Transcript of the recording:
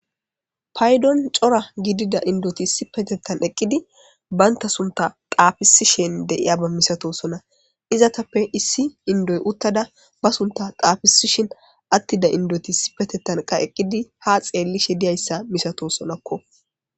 Paydon cora gidida indoti sipetetan eqqidi baynta sunta xaafisishin deiya ba misatosona izatappe issi indoy uttada ba sunta xaafisishin attida indoti sipetetan qa eqqidi ha xeellishe diyayssa misato sonakko.